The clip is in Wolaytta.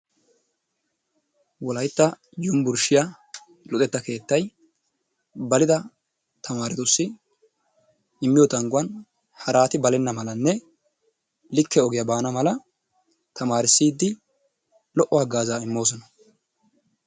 Wolaytta yunbburshshiya luxetta keettay balidda tamamrettussi immiyo tangguwan harati balena malnne likke ogiyaa baana mala tamarissidi lo"o hagaazza immoosona.